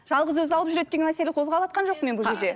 жалғыз өзі алып жүреді деген мәселені қозғаватқан жоқпын мен бұл жерде